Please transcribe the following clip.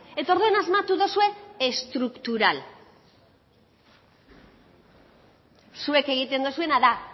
eta orduan asmatu duzue estruktural zuek egiten duzuena da